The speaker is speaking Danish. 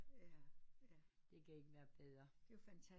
Det kan ikke være bedre